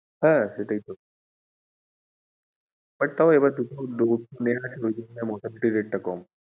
হ্যাঁ সেটাই তো but তাও এবার mortality rate টা কম।